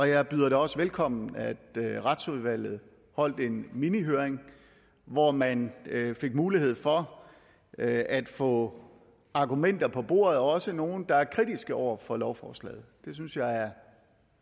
jeg bød det også velkommen at retsudvalget holdt en minihøring hvor man fik mulighed for at få argumenter på bordet også fra nogle der er kritiske over for lovforslaget det synes jeg er